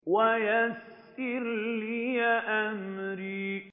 وَيَسِّرْ لِي أَمْرِي